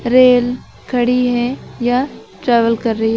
Rail खड़ी है या ट्रैवल कर रही है।